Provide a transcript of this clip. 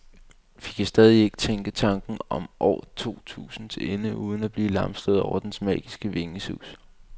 Vi kan stadig ikke tænke tanken om år to tusind til ende uden at blive lamslået over dens magiske vingesus.